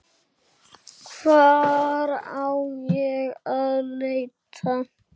Hvar á ég að leita.